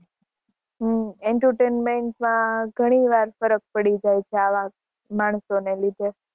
હમ્મ entertainment માં ઘણી વાર ફરક પડી જાય છે આવા માણસોને લીધે